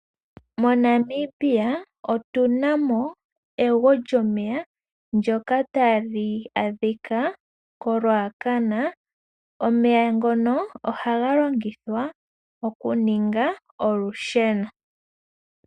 MoNamibia otunamo ewugo lyomeya ndyoka tali adhika moRuacana. Omeya ngono ohaga longithwa okuninga olusheno.